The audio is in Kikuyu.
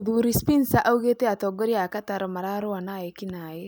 "Mũthuri Spincer augĩte atongoria a Qatar mararũa na eki naĩ